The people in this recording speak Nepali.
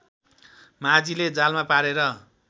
माझीले जालमा पारेर